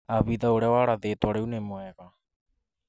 Abitha ũrĩa warathĩtwo rĩu nĩ mwega